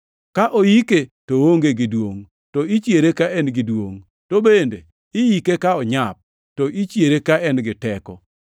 Ka oike, to oonge gi duongʼ, to ichiere ka en gi duongʼ, to bende iyike ka onyap, to ichiere ka en gi teko,